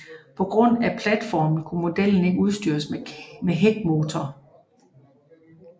På grund af platformen kunne modellen ikke udstyres med hækmotor